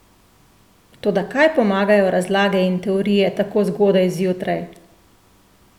Toda kaj pomagajo razlage in teorije tako zgodaj zjutraj?